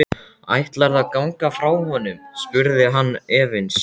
Ætlarðu að ganga frá honum? spurði hann efins.